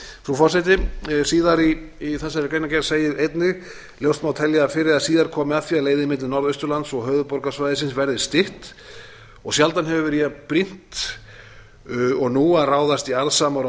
forseti síðar í þessari greinargerð segir einnig ljóst má telja að fyrr eða síðar komi að því að leiðin milli norðausturlands og höfuðborgarsvæðisins verði stytt og sjaldan hefur verið jafnbrýnt og nú að ráðast í arðsamar og